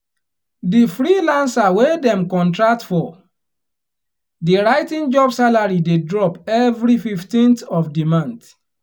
di freelancer wey dem contract for di writing job salary dey drop every 15th of di month